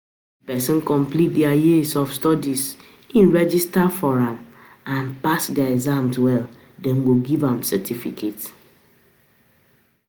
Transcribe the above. If person complete di years of studies im register for and pass di exams well dem go give am certificate